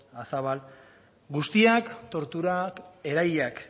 azabal guztiak torturak erahilak